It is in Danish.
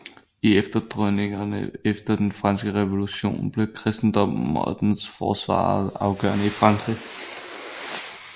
I efterdønningerne efter den franske revolution blev kristendommen og dens forsvarere afgørende i Frankrig